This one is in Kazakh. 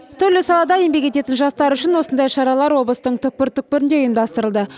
түрлі салада еңбек ететін жастар үшін осындай шаралар облыстың түкпір түкпірінде ұйымдастырылды